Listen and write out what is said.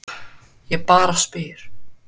Ég bara spyr?